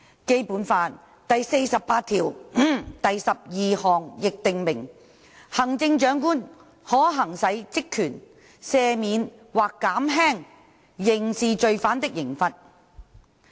《基本法》第四十八條第項亦訂明，行政長官可行使職權"赦免或減輕刑事罪犯的刑罰"。